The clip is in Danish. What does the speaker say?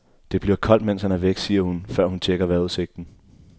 Det bliver koldt, mens han er væk, siger hun, før hun checker vejrudsigten.